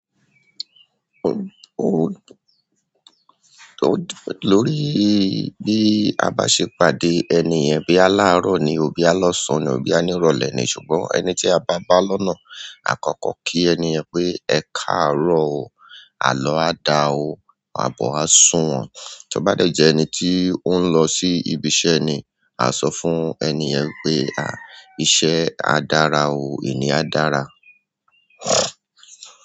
Lórí i bí a bá ṣe pàdé ènì yen, boya láàrọ̀ ni, boya lọsan ni, boya ní ìrọ̀lẹ́ ni. Ṣùgbọ́n ẹni tí a bá bá lọ́nà àkọ́kọ́ kí ènìyàn pé "Ẹ káàárọ̀ o, àlọ́ á dá ọ, àbọ̀ á sùn wọn". Tí ó bá dẹ̀ jẹ ẹni tí ó ń lọ sí ibi iṣẹ́ ni, a sọ fún ènì yen wipé "iṣẹ́ á dára o, ení á dára".